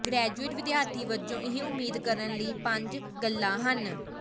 graduate ਵਿਦਿਆਰਥੀ ਵਜੋਂ ਇਹ ਉਮੀਦ ਕਰਨ ਲਈ ਪੰਜ ਗੱਲਾਂ ਹਨ